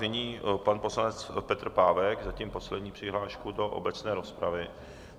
Nyní pan poslanec Petr Pávek, zatím poslední přihláška do obecné rozpravy.